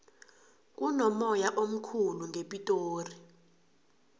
kunomoya omkhulu ngepitori